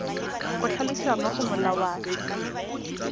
go tlhalosiwa mo go molawana